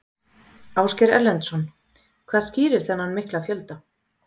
Ásgeir Erlendsson: Hvað skýrir þennan mikla fjölda?